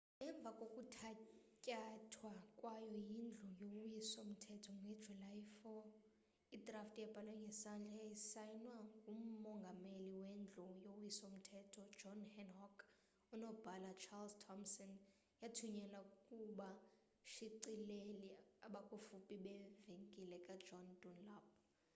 emva kokuthatyathwa kwayo yindlu yowiso mthetho ngejuly 4 idrafti ebhalwe ngesandla yasayinwa ngumongameli wendlu yowiso mthetho john hancock nonobhala ucharles thomson yathunyelwa kubashicileli abakufuphi bevenkile ka john dunlap